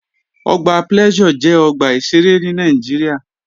Ọgbà Pleasure jẹ́ ọgbà ìṣeré ní Nàìjíríà